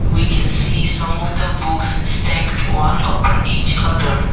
we can see some of the books stacked one upper each other.